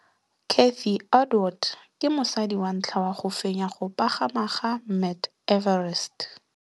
Cathy Odowd ke mosadi wa ntlha wa go fenya go pagama ga Mt Everest.